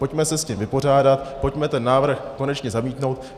Pojďme se s tím vypořádat, pojďme ten návrh konečně zamítnout.